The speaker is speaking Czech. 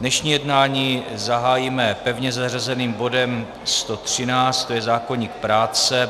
Dnešní jednání zahájíme pevně zařazeným bodem 113, to je zákoník práce.